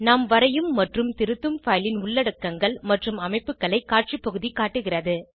நாம் வரையும் மற்றும் திருத்தும் பைல் ன் உள்ளடக்கங்கள் மற்றும் அமைப்புகளை காட்சி பகுதி காட்டுகிறது